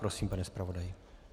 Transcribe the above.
Prosím, pane zpravodaji.